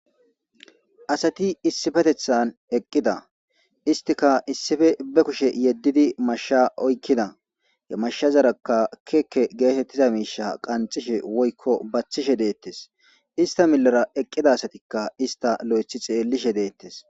Asati iisipeteththan eqida. istika isipe be kushe yedidi masha oykida. he mashazaraka keeke gettetiza mishsha qanxishe woyko baththishe de7ettes. isita milera eqida asatika isita lo7ithi xelishe de7ettes.